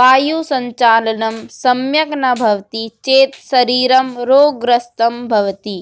वायुसञ्चालनं सम्यक् न भवति चेत् शरीरं रोगग्रस्तं भवति